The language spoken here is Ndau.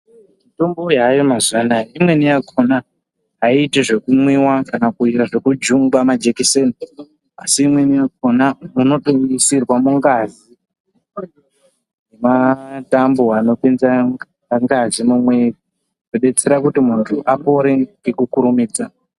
Mitombo yayo mazuva anaya imweni yakhona aiiti zvekumwiwa kana kuita zvekujungwa majekiseni asi imweni yakhona unotoiisirwa mungazi matambo anopinza ngazi mumwiri kudetseredza kuti muntu apone ngekukurumidza.